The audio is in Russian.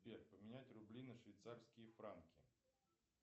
сбер поменять рубли на швейцарские франки